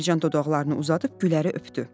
Mərcan dodaqlarını uzadıb Güləri öpdü.